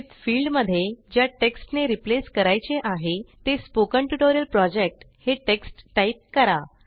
Withफिल्डमध्ये ज्या टेक्स्टने रिप्लेस करायचे आहे ते स्पोकन ट्युटोरियल Projectहे टेक्स्ट टाईप करा